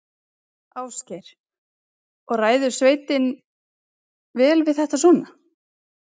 Ásgeir: Og ræður sveitin vel við þetta svona?